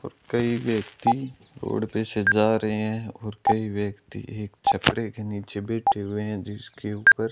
और कई व्यक्ति रोड पे से जा रहे हैं और कई व्यक्ति एक छपड़े के नीचे बैठे हुए हैं जिसके ऊपर --